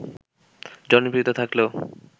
জনপ্রিয়তা থাকলেও